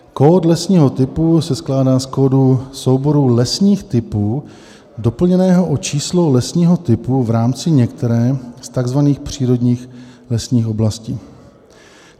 Kód lesního typu se skládá z kódu souboru lesních typů doplněného o číslo lesního typu v rámci některé z tzv. přírodních lesních oblastí.